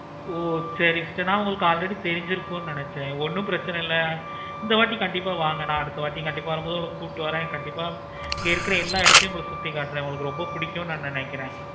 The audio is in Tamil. ஓ சரி sister நாங்க already தெரிஞ்சிருக்கும் நினச்சேன். ஒன்னு பிரச்சனை இல்லை. நா அடுத்த வாட்டி கண்டிப்பா வரும் போது நா உங்கள கூப்பிட்டு வரேன். கண்டிப்பா இருக்குற எல்லா இடத்தையும் உங்களுக்கு சுத்தி காட்டுறேன் உங்களுக்கு ரொம்ப பிடிக்கும் நா நினைக்கிறேன்.